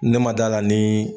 Ne ma d'a la nii